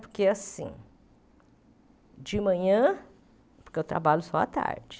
Porque, assim... De manhã... Porque eu trabalho só à tarde.